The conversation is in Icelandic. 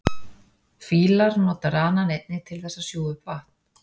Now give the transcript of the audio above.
Fílar nota ranann einnig til þess að sjúga upp vatn.